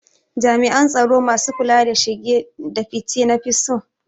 Jami'an tsaro masu kula da shige da fice na fi so